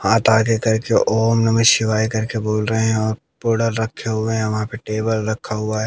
हाथ आगे करके ओम नमः शिवाय करके बोल रहे हैं रखे हुए हैं वहां पे टेबल रखा हुआ है।